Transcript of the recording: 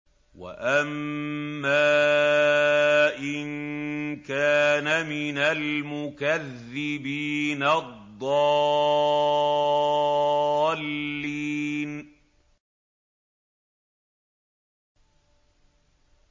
وَأَمَّا إِن كَانَ مِنَ الْمُكَذِّبِينَ الضَّالِّينَ